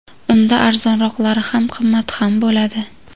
Unda arzonroqlari ham, qimmati ham bo‘ladi.